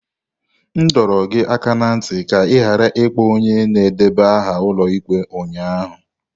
M dọrọ gị aka ná ntị ka ị ghara ịkpọ onye na-edeba aha ụlọ ikpe ụnyaahụ!